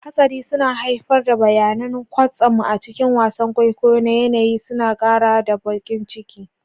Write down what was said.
Hatsari suna haifar da bayanan kwatsam a cikin wasan kwaikwayo na yanayi, suna ƙara da baƙin ciki.